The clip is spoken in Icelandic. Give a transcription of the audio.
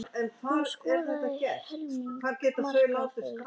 Hún skoraði helming marka Fylkis.